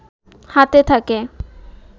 হাতে থাকে